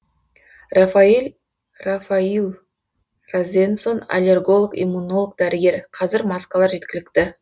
рафаил розенсон аллерголог иммунолог дәрігер қазір маскалар жеткілікті